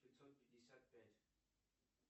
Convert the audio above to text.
пятьсот пятьдесят пять